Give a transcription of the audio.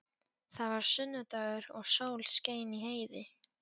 Það var sunnudagur og sól skein í heiði.